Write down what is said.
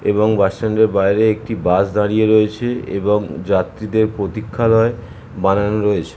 এবং bus stand এর বাহিরে একটি বাস দাঁড়িয়ে রয়েছে এবংযাত্রী দের প্রতীক্ষালয় বানানো রয়েছে।